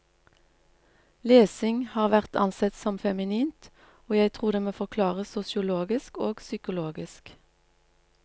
Lesing har vært ansett som feminint, og jeg tror det må forklares sosiologisk og psykologisk.